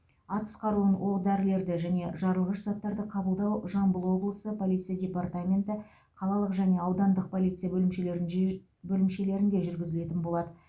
атыс қаруын оқ дәрілерді және жарылғыш заттарды қабылдау жамбыл облысы полиция департаменті қалалық және аудандық полиция бөлімшелерін жиж бөлімшелерінде жүргізілетін болады